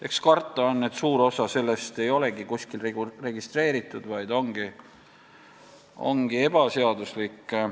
Eks karta on, et suur osa sellest ei olegi kuskil registreeritud, vaid ongi ebaseaduslik.